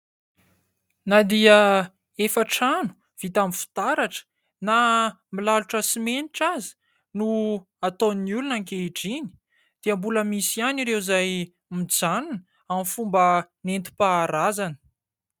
Na dia efa trano vita amin'ny fitaratra na milalotra simenitra aza no ataon'ny olona ankehitriny dia mbola misy ihany ireo izay mijanona amin'ny fomba nentim-paharazana.